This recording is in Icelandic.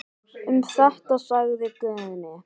Um þetta sagði Guðni.